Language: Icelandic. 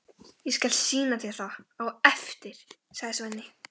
Ég skal sýna þér það á eftir, sagði Svenni.